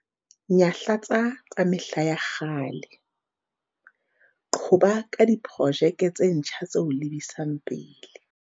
Nyahlatsa tsa mehla ya kgale, qhoba ka diprojeke tse ntjha tse o lebisang pele.